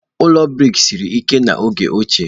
Ụlọ brik siri ike n'oge ochie.